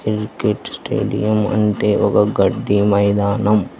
Cricket stadium అంటే ఒక గడ్డి మైదానం.